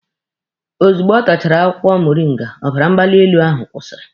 Ozugbo ọ tachara akwụkwọ moringa, ọbara mgbali elu ahụ kwụsịrị